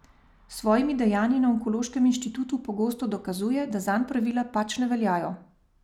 S svojimi dejanji na onkološkem inštitutu pogosto dokazuje, da zanj pravila pač ne veljajo.